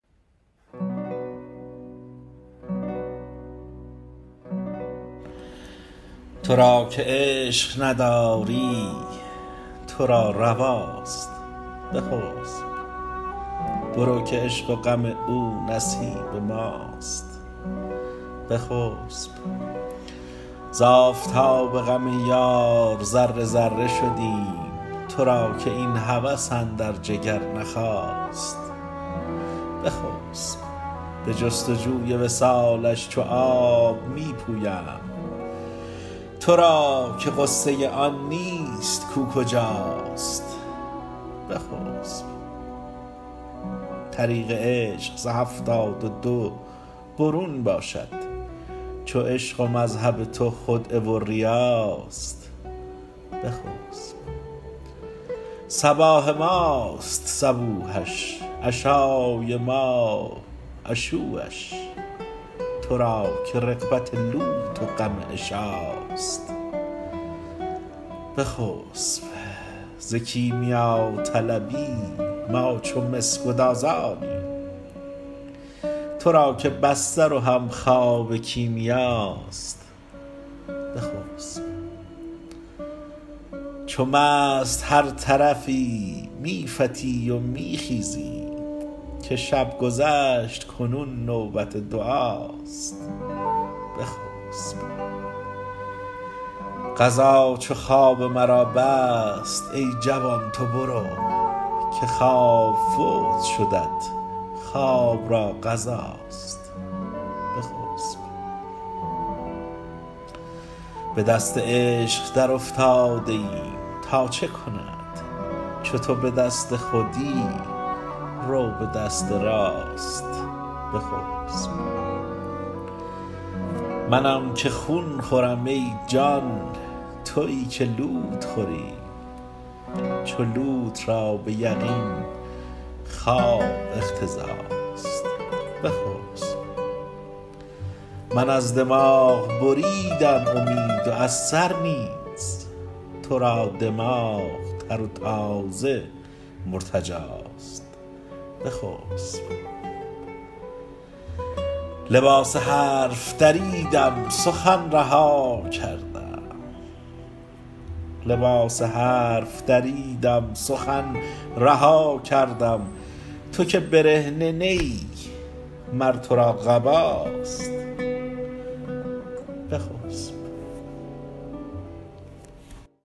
تو را که عشق نداری تو را رواست بخسب برو که عشق و غم او نصیب ماست بخسب ز آفتاب غم یار ذره ذره شدیم تو را که این هوس اندر جگر نخاست بخسب به جست و جوی وصالش چو آب می پویم تو را که غصه آن نیست کو کجاست بخسب طریق عشق ز هفتاد و دو برون باشد چو عشق و مذهب تو خدعه و ریاست بخسب صباح ماست صبوحش عشای ما عشوه ش تو را که رغبت لوت و غم عشاست بخسب ز کیمیاطلبی ما چو مس گدازانیم تو را که بستر و همخوابه کیمیاست بخسب چو مست هر طرفی می فتی و می خیزی که شب گذشت کنون نوبت دعاست بخسب قضا چو خواب مرا بست ای جوان تو برو که خواب فوت شدت خواب را قضاست بخسب به دست عشق درافتاده ایم تا چه کند چو تو به دست خودی رو به دست راست بخسب منم که خون خورم ای جان توی که لوت خوری چو لوت را به یقین خواب اقتضاست بخسب من از دماغ بریدم امید و از سر نیز تو را دماغ تر و تازه مرتجاست بخسب لباس حرف دریدم سخن رها کردم تو که برهنه نه ای مر تو را قباست بخسب